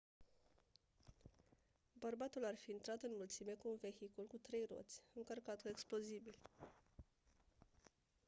bărbatul ar fi intrat în mulțime cu un vehicul cu trei roți încărcat cu explozibili